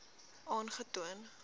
aangetoon